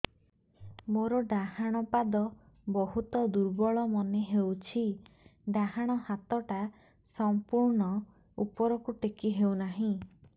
ମୋର ଡାହାଣ ପାଖ ବହୁତ ଦୁର୍ବଳ ମନେ ହେଉଛି ଡାହାଣ ହାତଟା ସମ୍ପୂର୍ଣ ଉପରକୁ ଟେକି ହେଉନାହିଁ